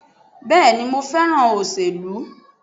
Bẹ́ẹ̀ni mo fẹ́ràn òṣèlú